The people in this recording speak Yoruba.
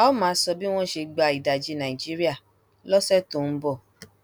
a óò máa sọ bí wọn ṣe gba ìdajì nàìjíríà lọsẹ tó ń bọ